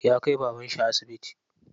Ya kai babanshi asibiti.